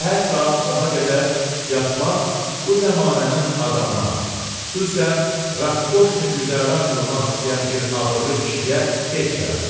Səhər saat 10-a qədər yatmaq bu zəmanənin adamına, xüsusən raskoşni güzəran qurmaq istəyən bir abırlı kişiyə heç yaraşmaz.